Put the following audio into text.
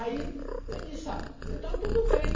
Aí eu disse, ah, então tudo bem.